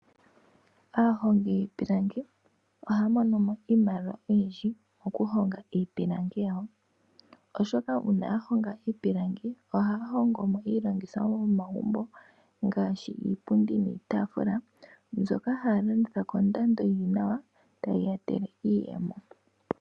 Aahongi yiipilangi ohaya monomo iimaliwa oyindji okuhonga iipilangi yawo, oshoka uuna yahonga iipilangi, ohaya hongomo iilongitho yomomagumbo ngaashi iipundi niitaafula mbyoka haya longitha kondando yili nawa tayi yetele iiyemo.